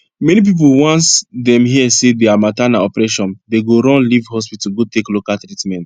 many pipu once dem here say deir matter na operation dem go run live hospital go take local treatment